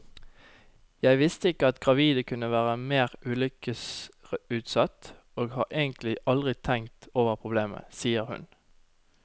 Jeg visste ikke at gravide kunne være mer ulykkesutsatt, og har egentlig aldri tenkt over problemet, sier hun.